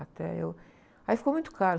Até eu... Aí ficou muito caro.